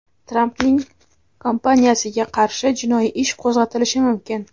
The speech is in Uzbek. Trampning kompaniyasiga qarshi jinoiy ish qo‘zg‘atilishi mumkin.